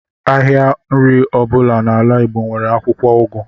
Ahịa nri ọbụla n’ala Igbo nwere akwụkwọ ugu